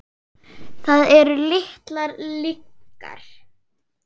Það eru litlar lygar.